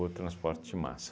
transporte de massa.